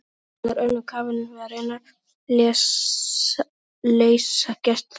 Hún var önnum kafin við að reyna að leysa gestaþraut.